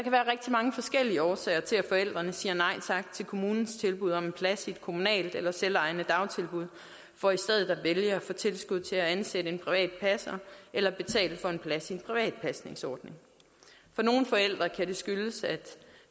mange forskellige årsager til at forældrene siger nej tak til kommunens tilbud om en plads i et kommunalt eller selvejende dagtilbud for i stedet at vælge at få tilskud til at ansætte en privat passer eller betale for en plads i en privat pasningsordning for nogle forældre kan det skyldes at